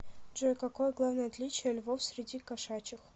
джой какое главное отличие львов среди кошачьих